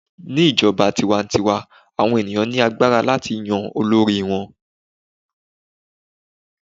ní ijoba tiwantiwa, awọn ènìyàn ní agbára láti Yan olori wan